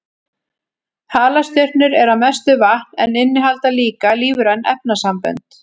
Halastjörnur eru að mestu vatn en innihalda líka lífræn efnasambönd.